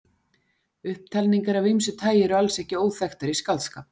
Upptalningar af ýmsu tagi eru alls ekki óþekktar í skáldskap.